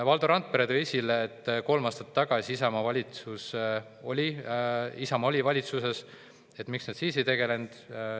Valdo Randpere tõi esile, et kolm aastat tagasi Isamaa oli valitsuses – miks nad siis sellega ei tegelenud.